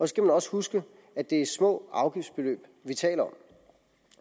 skal man også huske at det er små afgiftsbeløb vi taler om